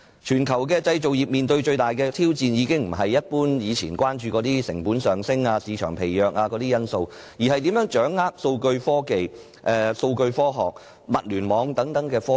全球製造業面對的最大挑戰，已不是以往一般關注的成本上升、市場疲弱等因素，而是如何掌握數據科學和物聯網等科技。